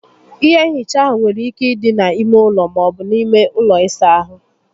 Ihe nhicha áhụ nwere ike ịdị na ímé ụlọ, maọbu na ime ụlọ ịsa ahụ